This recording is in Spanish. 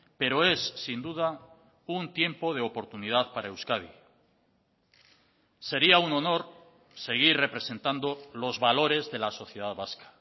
pero es sin duda un tiempo de oportunidad para euskadi sería un honor seguir representando los valores de la sociedad vasca